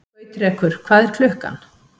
Gautrekur, hvað er klukkan?